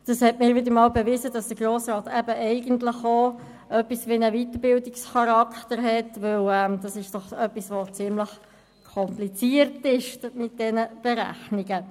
Das bewies mir einmal mehr, dass der Grosse Rat eigentlich auch etwas wie einen Weiterbildungscharakter hat, denn es ist etwas, das ziemlich kompliziert ist mit diesen Berechnungen.